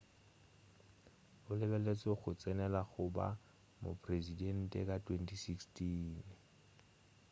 o lebeletšwe go tsenela go ba mopresedente ka 2016